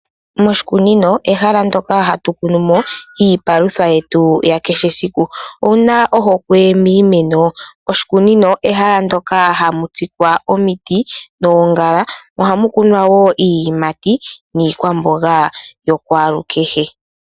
Oshikunino ehala ndyoka hatu kunumo iipalutha yetu ya kehe esiku . Owuna ohokwe miimeno? Oshikunino ehala ndyoka hamu tsikwa omiti noongala. Ohamu kunwa woo iiyimati niikwamboga ya kwalu kehe.